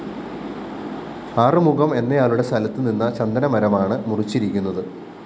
ആറുമുഖം എന്നയ്യാളുടെ സ്ഥലത്ത് നിന്ന ചന്ദനമരമാണ് മുറിച്ചിരിക്കുന്നത്